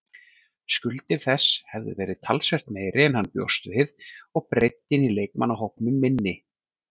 Skuldir þess hefðu verið talsvert meiri en hann bjóst við og breiddin í leikmannahópnum minni.